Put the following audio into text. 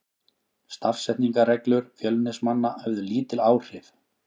Stafsetningarreglur Fjölnismanna höfðu lítil áhrif.